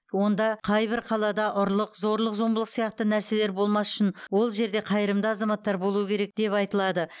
онда қайбір қалада ұрлық зорлық зомбылық сияқты нәрселер болмас үшін ол жерде қайырымды азаматтар болуы керек деп айтылады